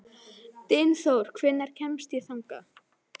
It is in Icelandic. Dynþór, hvernig kemst ég þangað?